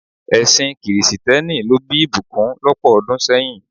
Ẹsìn kìrìsìtẹ́nì ló bí ìbùkún lọ́pọ̀ ọdún sẹ́yìn.